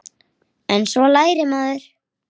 En svo lærir maður.